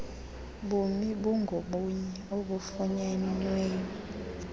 bumi bungobunye obufunyenweyo